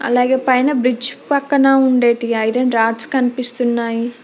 అలాగే పైన బ్రిడ్జ్ పక్కన ఉండేటి ఐరన్ రాడ్స్ కనిపిస్తున్నాయి.